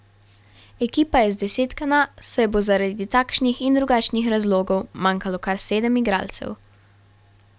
Ekipa je zdesetkana, saj bo zaradi takšnih in drugačnih razlogov manjkalo kar sedem igralcev.